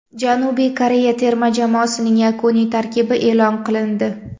Janubiy Koreya terma jamoasining yakuniy tarkibi e’lon qilindi.